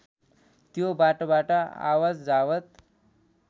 त्यो बाटोबाट आवतजावत